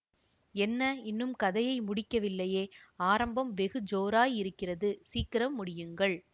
என்ன இன்னும் கதையை முடிக்கவில்லையே ஆரம்பம் வெகு ஜோராய் இருக்கிறது சீக்கிரம் முடியுங்கள்